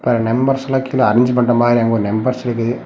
நம்பர்ஸ்லா கீழ அரேஞ்ச் பண்ற மாறி அங்க ஒரு நம்பர்ஸ் இருக்கு.